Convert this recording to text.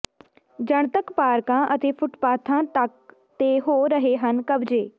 ਜਨਤਕ ਪਾਰਕਾਂ ਅਤੇ ਫੁਟਪਾਥਾਂ ਤੱਕ ਤੇ ਹੋ ਰਹੇ ਹਨ ਕਬਜੇ